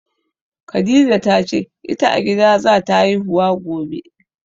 Khadija ta ce ita a gida zata haihuwa gobe